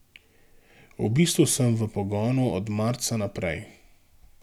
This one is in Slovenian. V bistvu sem v pogonu od marca naprej.